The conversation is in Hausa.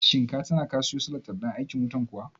Shin ka tina ka siyo salatif ɗin aikin wutan kuwa?